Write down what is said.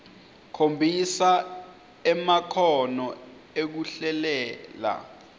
khombisa emakhono ekuhlelela